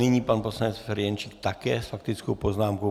Nyní pan poslanec Ferjenčík také s faktickou poznámkou.